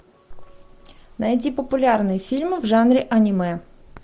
найди популярные фильмы в жанре аниме